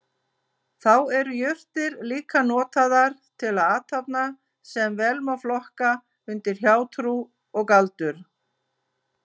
Þá voru jurtir líka notaðar til athafna sem vel má flokka undir hjátrú og galdur.